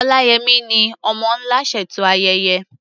Oláyẹmí ni "Ọmọ́ Ńlá" ṣètò ayẹyẹ.